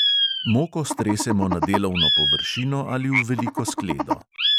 Moko stresemo na delovno površino ali v veliko skledo.